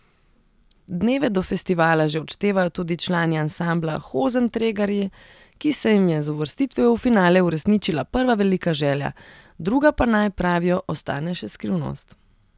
Dneve do festivala že odštevajo tudi člani ansambla Hozentregarji, ki se jim je z uvrstitvijo v finale uresničila prva velika želja, druga pa naj, pravijo, ostane še skrivnost.